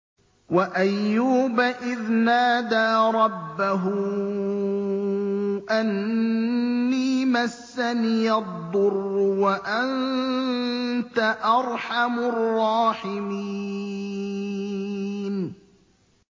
۞ وَأَيُّوبَ إِذْ نَادَىٰ رَبَّهُ أَنِّي مَسَّنِيَ الضُّرُّ وَأَنتَ أَرْحَمُ الرَّاحِمِينَ